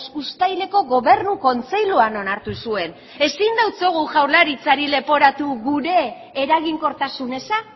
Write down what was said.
uztaileko gobernu kontseiluan onartu zuen ezin diogu jaurlaritzari leporatu gure eraginkortasun eza